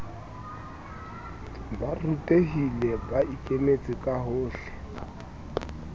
ba rutehilemme ba ikemetse kahohle